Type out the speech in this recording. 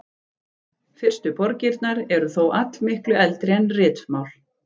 Fyrstu borgirnar eru þó allmiklu eldri en ritmál.